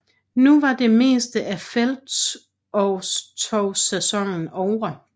Nu var det meste af felttogssæsonen ovre